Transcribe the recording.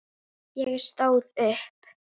Ég stóð upp.